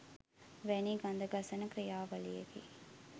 වැනි ගඳ ගසන ක්‍රියාවලියකි